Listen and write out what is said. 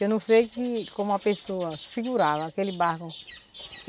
Eu não sei que como a pessoa segurava aquele barco.